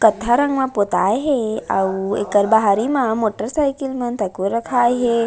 कत्था रंग मे पोताए हे अऊ ओकर बाहरी म मोटर साइकिल मन तको रखाए हे।